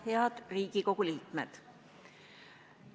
Head Riigikogu liikmed!